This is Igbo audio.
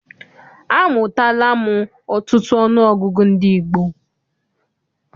Amụtala m ọtụtụ ọnụọgụgụ ndị gboo.